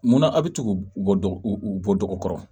Munna a' bɛ tugu bɔ dug kɔrɔ